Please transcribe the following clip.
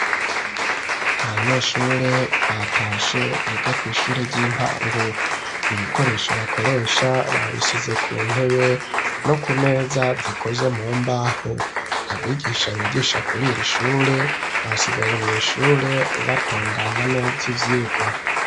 Abanyeshure batashe biga kw'ishure ry'intango, ibikoresho bakoresha babishize ku ntebe no ku meza zikoze mu mbaho ,abigisha bigisha kurir'ishure basigaye mw,ishure batunganya neza ivyigwa.